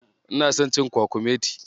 Ina son cin kwakumeti.